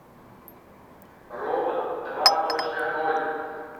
робот два точка ноль